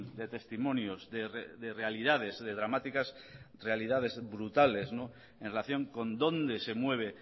de testimonios de realidades de dramáticas de realidades brutales en relación con dónde se mueve